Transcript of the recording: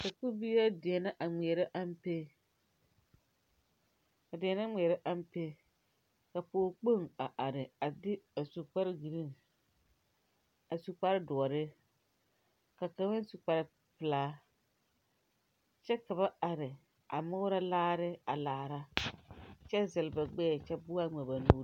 Sakubiiri la deɛnɛ ŋmeɛrɛ ampe a deɛɛnɛ ŋmeɛrɛ ampe ka pɔge kpoŋ a are a be a su kpare giriin a su kpare doɔre ka kaŋa su kpare pilaa kyɛ ka ba are a murɔ laare laara kyɛ zɛl ba gbɛɛ kyɛ bua ŋmɛ ba nuuri.